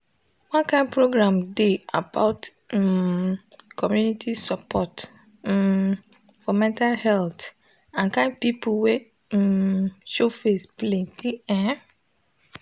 one kind program dey about um community support um for mental health and kind people wey um show face plenty ehh